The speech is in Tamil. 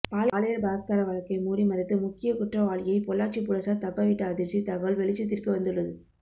பாலியல் பலாத்கார வழக்கை மூடி மறைத்து முக்கிய குற்றவாளியை பொள்ளாச்சி போலீசார் தப்பவிட்ட அதிர்ச்சி தகவல் வெளிச்சத்திற்கு வந்துள்ளது